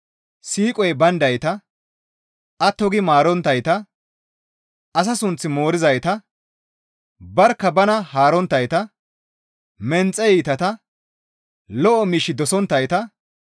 siiqoy bayndayta, atto gi maaronttayta, asa sunth moorizayta, barkka bana haaronttayta, menxe iitata, lo7o miish dosonttayta,